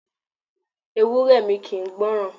Ewúré mi kì ń gbọ́ràn.